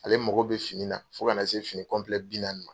Ale mago bɛ fini na fɔ kana na se fini bi naani.